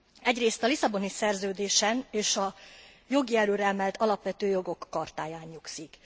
Egyrészt a Lisszaboni Szerződésen és a jogi erőre emelt Alapvető Jogok Chartáján nyugszik.